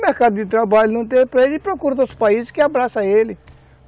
O mercado de trabalho não tem para ele, ele procura outros países que abraçam ele.